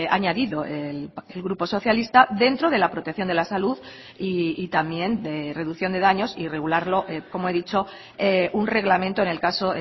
añadido el grupo socialista dentro de la protección de la salud y también de reducción de daños y regularlo como he dicho un reglamento en el caso